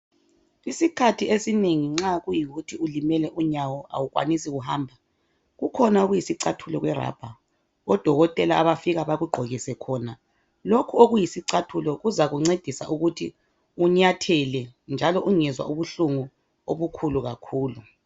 Isikhathi esinengi nxa kuyikuthi ulimele unyawo awukwanisi kuhamba kukhona okuyisicathulo kwe (rubber) oDokotela abafika bakugqokise khona lokhu okuyisicathulo kuzakuncedisa ukuthi unyathele njalo ungezwa ubuhlungu obukhulu kakhulu